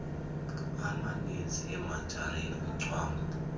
amanizi imajarini ucwambu